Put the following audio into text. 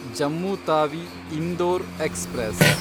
Jammu Tawi Indore express